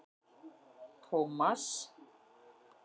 Tómas